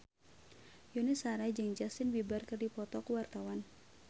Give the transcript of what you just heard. Yuni Shara jeung Justin Beiber keur dipoto ku wartawan